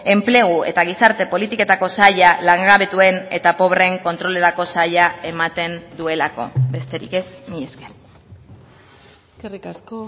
enplegu eta gizarte politiketako saila langabetuen eta pobreen kontrolerako saila ematen duelako besterik ez mila esker eskerrik asko